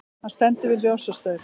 Hann stendur við ljósastaur.